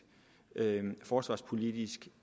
forsvarspolitisk